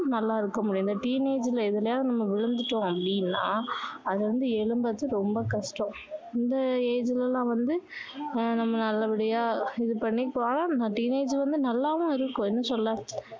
நல்லா இருக்க முடியும் இந்த teenage ல எதுலயாவது நம்ம விழுந்துட்டோம் அப்படின்னா அதுல இருந்து எழும்புறது ரொம்ப கஷ்டோம் இந்த age ல தான் வந்து நம்ம நல்ல படியா இது பண்ணி teenage வந்து நல்லாதான் இருக்கும் என்ன சொல்ல